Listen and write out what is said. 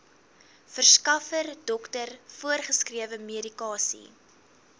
verskaffer dokter voorgeskrewemedikasie